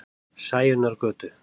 Sæunnargötu